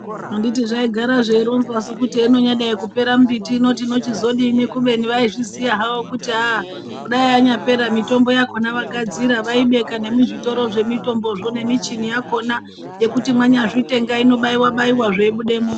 Anditi zvaigara zveironzwa su kuti heinonyadai kupera mimbiti ino tinochizodini kubeni vaizviziyahavo kuti hayi dai yanyapera ,mitombo yakhona vagadzira ,vaibeka nemuzvitoro zvemutombozvo nemichini yakhona yekuti mwanyazvitenga inobaiwa baiwa zveibudamwo.